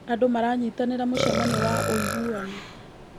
Andũ maranyitanĩra mũcemanio wa ũiguano.